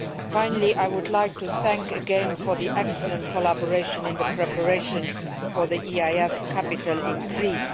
Finally, I would like to thank you again for the excellent collaboration in the preparations for the EIF capital increase.